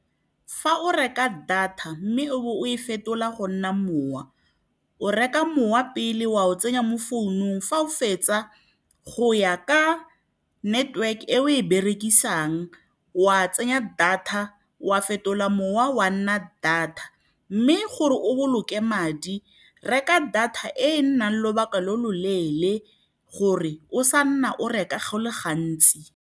Fa o reka data mme o e fetola go nna mowa, o reka mowa pele wa o tsenya mo founung, fa o fetsa go ya ka network e o e berekisang, wa tsenya data wa fetola mowa wa nna data. Mme gore o boloke madi reka data e nnang lobaka lo lo leele gore o sa nna o reka go le gantsi